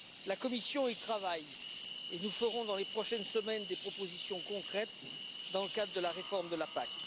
La commission y travaille et nous ferons dans les prochaines semaines des propositions concrètes dans le cadre de la réforme de la PAC.